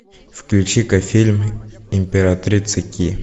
включи ка фильм императрица ки